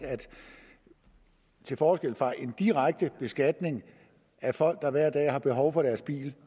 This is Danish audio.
til forskel fra en direkte beskatning af folk der hver dag har behov for deres bil